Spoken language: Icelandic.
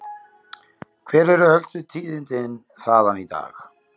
Hver eru helstu tíðindi þaðan í dag?